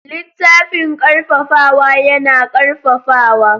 Littafin ƙarfafawa yana ƙarfafawa.